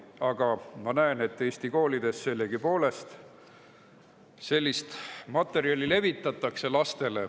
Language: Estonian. Aga ma näen, et Eesti koolides sellist materjali laste seas levitatakse.